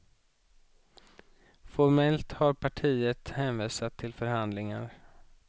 Formellt har partiet hänvisat till förhandlingarna.